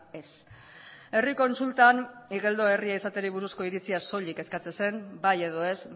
ez herri kontsultan igeldo herri izateari buruzko iritzia soilik eskatzen zen bai edo ez